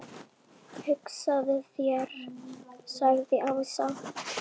Það met verður aldrei slegið.